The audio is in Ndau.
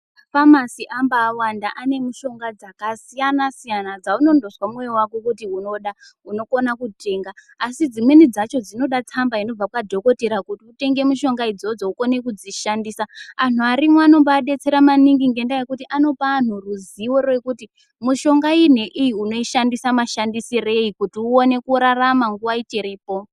Mafamasi amba awanda ane mishonga dzakasiyana-siyana, dzaunondozwa mwoyo wako kuti unoda unokona kutenga ,asi dzimweni dzacho dzinoda tsamba inobva kwadhokodheya kuti utenge mishonga idzodzo ukone kudzishandisa. Anhu arimwo anoba adetsera maningi ngedaa yekuti anopa anhu ruzivo rekuti mishonga iyi inoite mashandisirei kuti uone kurarama nguwa ichipo.